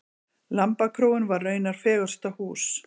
Lambakróin var raunar fegursta hús.